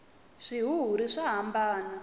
swihuhiri swa hambana